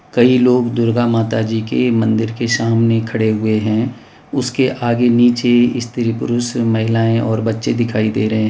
कई लोग दुर्गा माता जी के मंदिर के सामने खड़े हुए हैं उसके आगे नीचे स्त्री पुरुष महिलाएं और बच्चे दिखाई दे रहे --